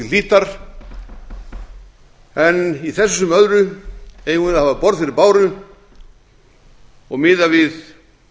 hlítar en í þessu sem öðru eigum við að hafa borð fyrir báru og miða við